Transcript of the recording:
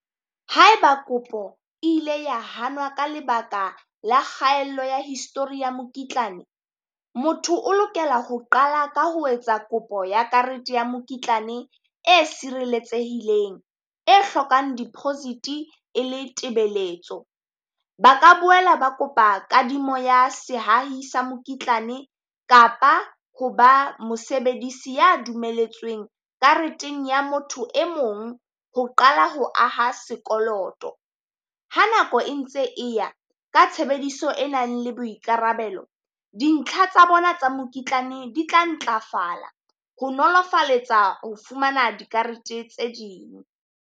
Haeba kopo e ile ya hanwa ka lebaka la kgaello ya histori ya mokitlane, motho o lokela ho qala ka ho etsa kopo ya karete ya mokitlane e sireletsehileng e hlokang deposit-e e le tebeletso. Ba ka boela ba kopa kadimo ya sehahi sa mokitlane kapa ho ba mosebedisi ya dumeletsweng kareteng ya motho e mong ho qala ho aha sekoloto. Ha nako e ntse e ya ka tshebediso e nang le boikarabelo, dintlha tsa bona tsa mokitlane di tla ntlafala ho nolofaletsa ho fumana dikarete tse ding.